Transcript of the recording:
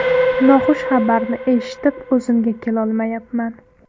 Noxush xabarni eshitib, o‘zimga kelolmayapman.